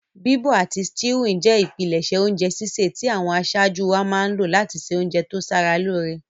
Bíbọ̀ àti stewing je ìpinlẹ̀sẹ̀ ounje sísẹ̀ ti àwon asájú wáa má n lo láti se ounje to sara lóre